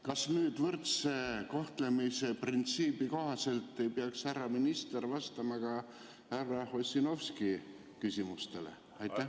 Kas nüüd võrdse kohtlemise printsiibi kohaselt ei peaks härra minister vastama ka härra Ossinovski küsimustele?